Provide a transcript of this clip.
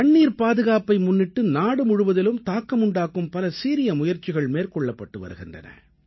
தண்ணீர் பாதுகாப்பை முன்னிட்டு நாடு முழுவதிலும் தாக்கமுண்டாக்கும் பல சீரிய முயற்சிகள் மேற்கொள்ளப்பட்டு வருகின்றன